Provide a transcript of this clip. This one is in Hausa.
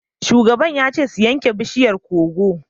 Shugaba ya ce su yanke bishiyar koko!